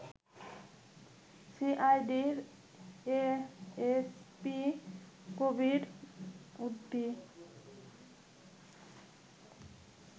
সিআইডির এএসপি কবির উদ্দিন